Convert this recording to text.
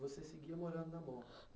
Você seguia morando na Moca